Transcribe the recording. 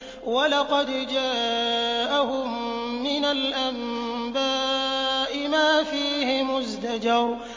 وَلَقَدْ جَاءَهُم مِّنَ الْأَنبَاءِ مَا فِيهِ مُزْدَجَرٌ